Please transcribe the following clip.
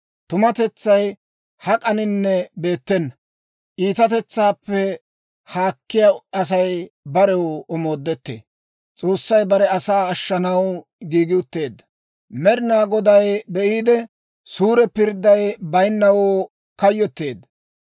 Tumatetsay hak'aninne beettena; iitatetsaappe haakkiyaa Asay barew omoodettee. S'oossay Bare Asaa Ashshanaw Giigi Utteedda Med'inaa Goday be'iide, suure pirdday bayinnawoo kayyotteedda.